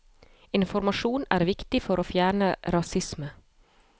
Informasjon er viktig for å fjerne rasisme.